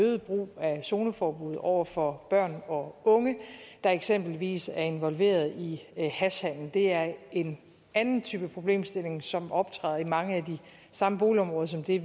øget brug af zoneforbud over for børn og unge der eksempelvis er involveret i hashhandel det er en anden type problemstilling som optræder i mange af de samme boligområder som det